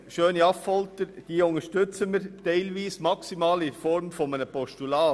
Schöni-Affolter: Diese unterstützen wir teilweise, jedoch maximal in Form eines Postulats.